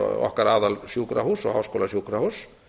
okkar aðal sjúkrahúss og háskólasjúkrahúss